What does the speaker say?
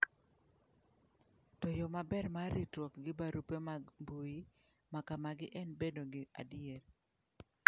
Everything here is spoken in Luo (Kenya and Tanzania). To yo maber mar ritruok gi barupe mag mbuyi ma kamagi en bedo gi adier.